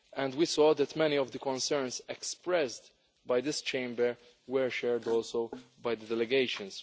We saw that many of the concerns expressed by this Chamber were shared also by the delegations.